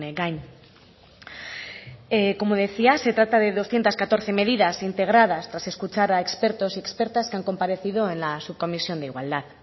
gain como decía se trata de doscientos catorce medidas integradas tras escuchar a expertos y expertas que han comparecido en la subcomisión de igualdad